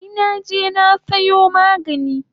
Ai naje na sayo magani